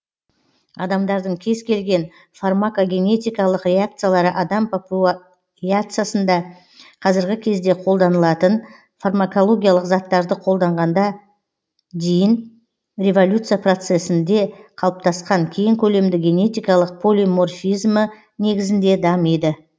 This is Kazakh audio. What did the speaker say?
адамдардың кез келген фармакогенетикалық реакциялары адам попуяциясында қазіргі кезде қолданылатын фармакологиялық заттарды қолданғанға дейін эволюция процесінде қалыптасқан кең көлемді генетикалық полиморфизмі негізінде дамиды